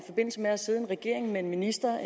regering med en minister